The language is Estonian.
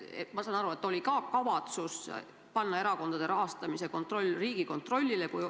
Ma saan aru, et oli ka kavatsus panna erakondade rahastamise kontroll Riigikontrollile.